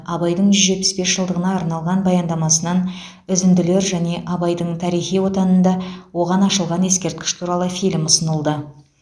абайдың жүз жетпіс бес жылдығына арналған баяндамасынан үзінділер және абайдың тарихи отанында оған ашылған ескерткіш туралы фильм ұсынылды